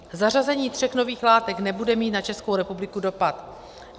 Zařazení tří nových látek nebude mít na Českou republiku dopad.